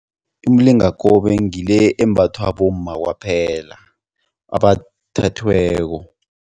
Imilingakobe ngile embathwa bomma kwaphela abathethweko.